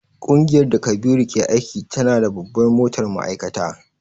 Kungiyar da Kabiru ke aiki tana da babbar motar ma'aikata.